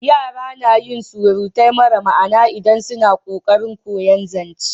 Yara na yin surutai mara ma'ana idan suna ƙoƙarin koyan zance